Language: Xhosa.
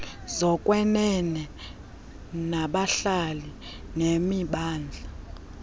zokwenene zabahlali nemimandla